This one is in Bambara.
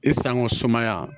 I sangɔ sumaya